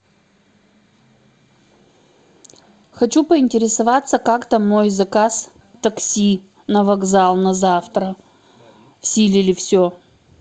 хочу поинтересоваться как там мой заказ такси на вокзал на завтра в силе ли все